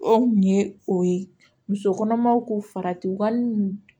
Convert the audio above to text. O kun ye o ye muso kɔnɔmaw ko faratiban